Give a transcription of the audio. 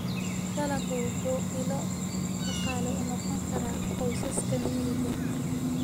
Dalaggu wuxuu ilo dhaqaale u noqon karaa qoysaska miyiga.